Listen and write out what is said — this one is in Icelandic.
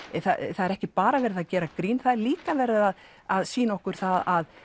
það er ekki bara verið að gera grín það er líka verið að að sýna okkur að